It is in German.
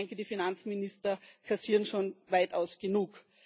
Ich denke, die Finanzminister kassieren schon weitaus genug.